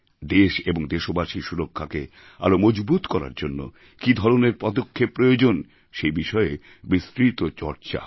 দেশ এবং দেশবাসীর সুরক্ষাকে আরও মজবুত করার জন্য কি ধরনের পদক্ষেপ প্রয়োজন সে বিষয়ে বিস্তৃত চর্চা হয়